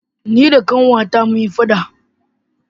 ni da Ƙanwata mun yi faɗa